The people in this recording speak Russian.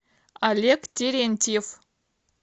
олег терентьев